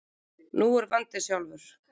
Nú er vandinn sjálfur.